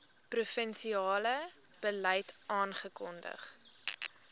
provinsiale beleid afgekondig